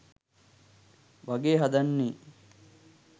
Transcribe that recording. වගේ හදන්නේ.